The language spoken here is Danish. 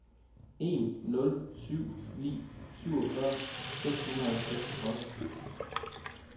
en nul syv ni syvogfyrre seks hundrede og seksogtredive